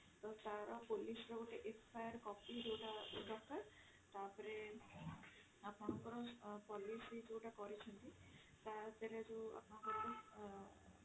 ତ ତାର police ର ଗୋଟେ FIR copy ଯୋଉଟା ଦରକାର ତାପରେ ଆପଣଙ୍କର policy ଯୋଉଟା କରିଛନ୍ତି ତାଦେହରେ ଯୋଉ ଆପଣଙ୍କର